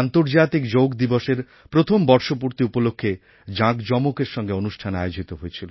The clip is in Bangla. আন্তর্জাতিক যোগ দিবসএর প্রথম বর্ষপূর্তি উপলক্ষ্যে জাঁকজমকের সঙ্গে অনুষ্ঠান আয়োজিত হয়েছিল